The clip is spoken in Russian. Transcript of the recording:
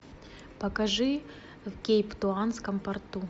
покажи в кейптаунском порту